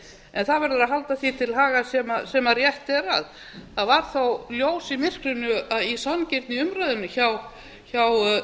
en það verður að halda því til haga sem rétt er að það var þó ljós í myrkrinu í sanngirni í umræðunni hjá